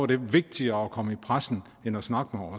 det vigtigere at komme i pressen end at snakke